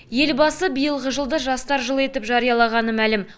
елбасы биылғы жылды жастар жылы етіп жариялағаны мәлім